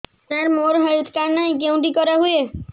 ସାର ମୋର health card ନାହିଁ କେଉଁଠି କରା ହୁଏ